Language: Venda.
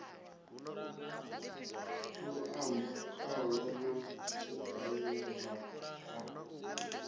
luambo khalo na tshitaila a